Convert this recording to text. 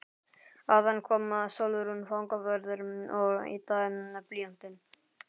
Áðan kom Sólrún fangavörður og yddaði blýantinn.